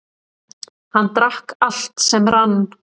Hann drakk allt sem rann.